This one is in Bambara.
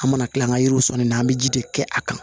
An mana kila an ka yiriw sɔnni na an bɛ ji de kɛ a kan